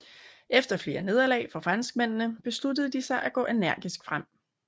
Efter flere nederlag for franskmændene besluttede de sig til at gå energisk frem